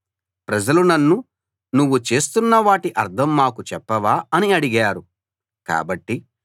ప్రజలు నన్ను నువ్వు చేస్తున్నవాటి అర్థం మాకు చెప్పవా అని అడిగారు